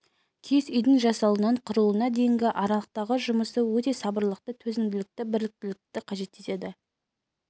киіз үйдің жасалуынан құрылуына дейінгі аралықтағы жұмысы өте сабырлылықты төзімділікті біліктілікті қажет етеді